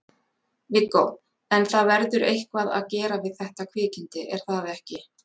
Viggó: En það verður eitthvað að gera við þetta kvikindi er það ekki?